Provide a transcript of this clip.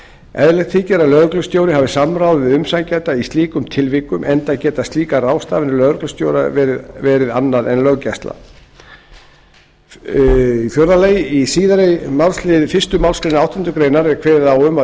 eðlilegt þykir að lögreglustjóri hafi samráð við umsækjanda í slíkum tilvikum enda geta slíkar ráðstafanir lögreglustjóra verið annað en löggæsla fjórði í síðari málsl fyrstu málsgrein átjándu grein er kveðið á um að